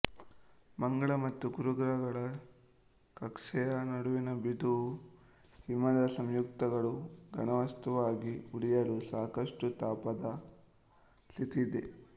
ಮಂಗಳ ಮತ್ತು ಗುರುಗ್ರಹಗಳ ಕಕ್ಷೆಯ ನಡುವಿನ ಬಿಂದುವು ಹಿಮದ ಸಂಯುಕ್ತಗಳು ಘನವಸ್ತುವಾಗಿ ಉಳಿಯಲು ಸಾಕಷ್ಟು ತಂಪಾದ ಸ್ಥಿತಿ ಇದೆ